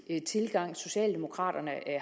tilgang socialdemokraterne